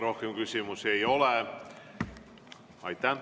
Rohkem küsimusi ei ole.